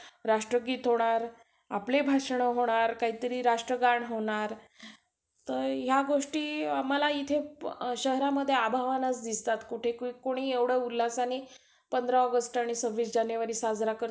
अच्छा!